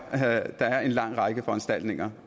der er en lang række foranstaltninger